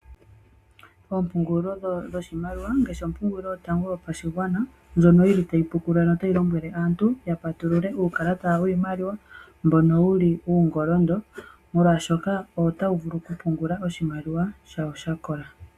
Oompungulilo dhoshimaliwa, ngaashi ompungulilo yotango yopashigwana, ndjono yi li tayi pukulula notayi lombwele aantu ya patulule uukalata wiimaliwa, mbono wu li uungolondo molwaashoka owo tawu vulu okupungula oshimaliwa shawo sha kola.